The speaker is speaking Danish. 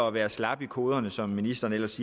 at være slappe i koderne som ministeren ellers